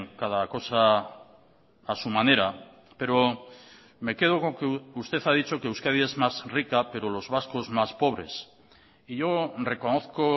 cada cosa a su manera pero me quedo con que usted ha dicho que euskadi es más rica pero los vascos más pobres y yo reconozco